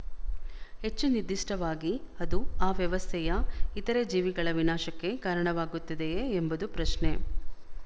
ಹೆಚ್ಚು ನಿರ್ದಿಷ್ಟವಾಗಿ ಅದು ಆ ವ್ಯವಸ್ಥೆಯ ಇತರೆ ಜೀವಿಗಳ ವಿನಾಶಕ್ಕೆ ಕಾರಣವಾಗುತ್ತದೆಯೇ ಎಂಬುದು ಪ್ರಶ್ನೆ